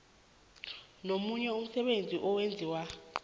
nomunye umsebenzi owenziwa